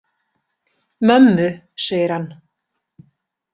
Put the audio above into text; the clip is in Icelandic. Mömmu, segir hann.